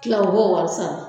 tila u b'o wari sara